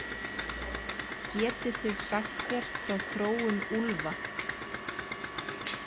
Getið þið sagt mér frá þróun úlfa?